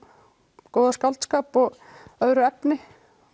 góða skáldskap og öðru efni